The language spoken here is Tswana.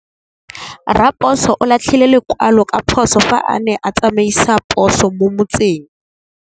Raposo o latlhie lekwalô ka phosô fa a ne a tsamaisa poso mo motseng.